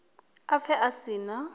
a pfe a si na